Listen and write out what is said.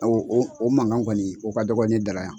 o mankan kɔni o ka dɔgɔ ne da la yan.